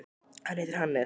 Hann heitir Hannes.